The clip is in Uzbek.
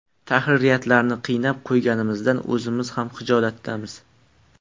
Tahririyatlarni qiynab qo‘yganimizdan o‘zimiz ham xijolatdamiz”.